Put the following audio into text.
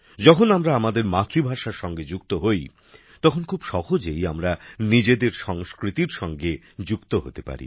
যখন আমরা আমাদের মাতৃভাষার সঙ্গে যুক্ত হই তখন খুব সহজেই আমরা নিজেদের সংস্কৃতির সঙ্গে যুক্ত হতে পারি